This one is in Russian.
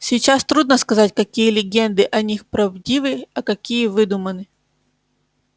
сейчас трудно сказать какие легенды о них правдивы а какие выдуманы